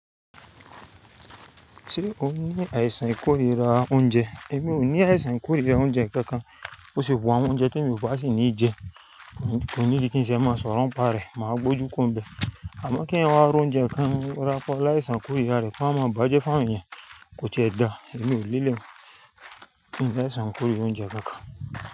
Ṣé o ní àìsàn ikórira oúnjẹ? Èmi ò ní àìsàn ikórira oúnjẹ kankan. Ó ṣe wù àwọn oúnjẹ tí èmi ò bá sì ní jẹ, kò need kí n sẹ mọ sọrọ̀ ń pàrẹ́, màá gbójú ku o n bẹ. Àmọ́ kí èèyàn wa roúnjẹ kan rọ́pọ̀ láìsàn kórìíra rẹ̀ kó wa má bàjẹ́ fún àwọn ènìyàn, kò tiẹ dá. Èmi ò leleun ìn ní àìsàn kóríra oúnjẹ kankan.